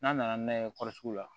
N'a nana n'a ye kɔsugu la